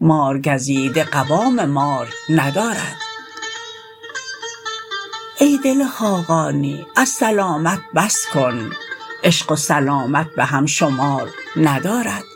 مارگزیده قوام مار ندارد ای دل خاقانی از سلامت بس کن عشق و سلامت به هم شمار ندارد